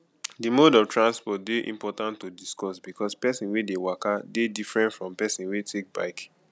the mode of transport dey important to discuss because person wey dey waka dey different from person wey take bike